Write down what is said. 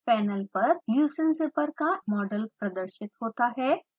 panel पर leucine zipper का model प्रदर्शित होता है